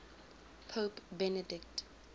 pope benedict